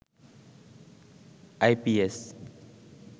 IPS